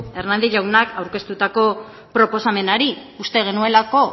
hernández jaunak aurkeztutako proposamenari uste genuelako